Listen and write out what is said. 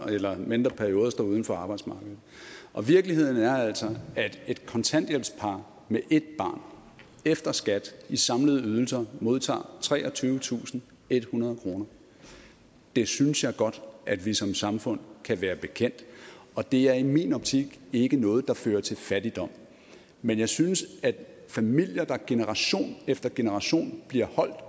eller længere perioder står uden for arbejdsmarkedet og virkeligheden er altså at et kontanthjælpspar med et barn efter skat i samlede ydelser modtager treogtyvetusinde og ethundrede kroner det synes jeg godt at vi som samfund kan være bekendt og det er i min optik ikke noget der fører til fattigdom men jeg synes at når familier i generation efter generation bliver holdt